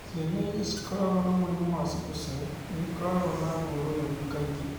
Ciana iria ikoragwo na mũrimũ wa sickle cell, nĩ ikoragwo na ruo rũnene kaingĩ,